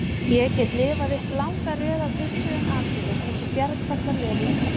Ég get lifað upp langa röð af hugsuðum atburðum eins og bjargfastan veruleika.